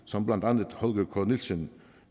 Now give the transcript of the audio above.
som blandt andet holger k nielsen